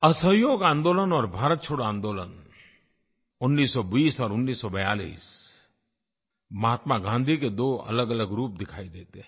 असहयोग आन्दोलन और भारत छोड़ो आन्दोलन 1920 और 1942 महात्मा गाँधी के दो अलगअलग रूप दिखाई देते हैं